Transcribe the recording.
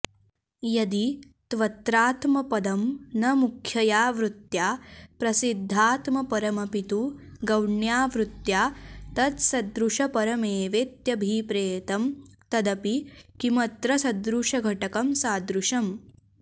यदि त्वत्रात्मपदं न मुख्यया वृत्या प्रसिद्धात्मपरमपितु गौण्या वृत्या तत्सदृशपरमेवेत्यभिप्रेतं तदपि किमत्र सदृशघटकं सादृश्यम्